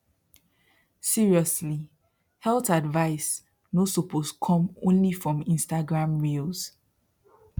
seriously health advice no suppose come only from instagram reels